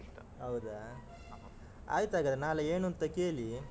ಹೌದಾ, ಆಯ್ತಾಗಾದ್ರೆ ನಾಳೆ ಏನು ಅಂತ ಕೇಳಿ.